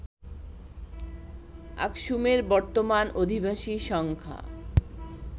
আকসুমের বর্তমান অধিবাসী সংখ্যা